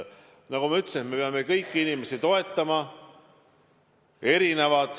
Nagu ma ütlesin, me peame kõiki inimesi toetama.